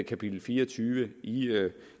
kapitel fire og tyve